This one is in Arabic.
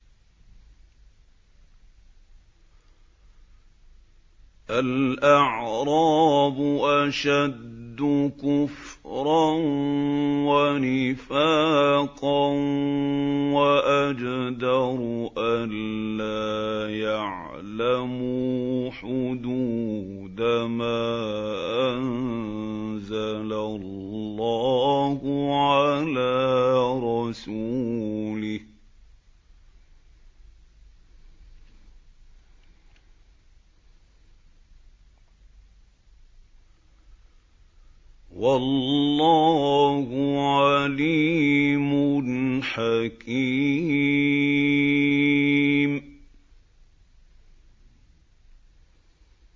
الْأَعْرَابُ أَشَدُّ كُفْرًا وَنِفَاقًا وَأَجْدَرُ أَلَّا يَعْلَمُوا حُدُودَ مَا أَنزَلَ اللَّهُ عَلَىٰ رَسُولِهِ ۗ وَاللَّهُ عَلِيمٌ حَكِيمٌ